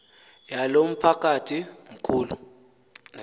yalo mphakathi mkhulu